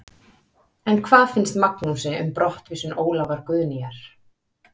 En hvað finnst Magnúsi um brottvísun Ólafar Guðnýjar?